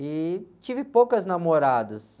E tive poucas namoradas.